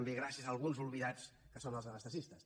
gràcies a alguns oblidats que són els anestesistes